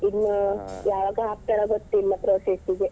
ಇನ್ನು ಯಾವಾಗದಿಂದ ಹಾಕ್ತಾರಾ ಗೊತ್ತಿಲ್ಲ process ಗೆ .